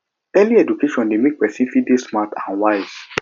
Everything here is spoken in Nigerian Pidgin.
early education de make persin fit de smart and wise